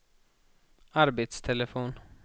arbetstelefon